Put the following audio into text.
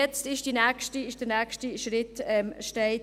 Jetzt steht der nächste Schritt an.